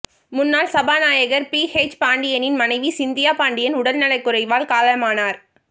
முன்னாள் சபாநாயகர் P H பாண்டியனின் மனைவி சிந்தியா பாண்டியன் உடல்நலக்குறைவால் காலமானார்